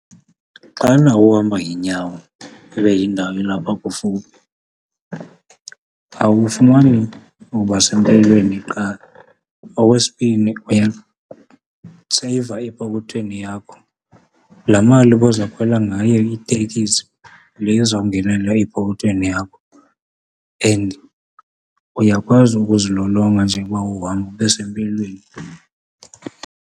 Xana nawo uhamba ngeenyawo ibe indawo ilapha kufuphi awufumani uba sempilweni qha okwesibini uyaseyiva epokothweni yakho. Laa mali ubozawukhwela ngayo iitekisi yile izawungena epokothweni yakho and uyakwazi ukuzilolonga njengoba uhamba ube sempilweni.